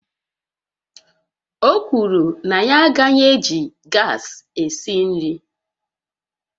O kwuru na ya agaghị eji gas esi nri